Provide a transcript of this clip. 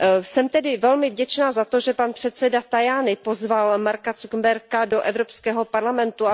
Jsem tedy velmi vděčná za to, že předseda Tajani pozval Marka Zuckerberga do Evropského parlamentu.